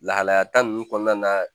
Lahalaya ta nunnu kɔɔna na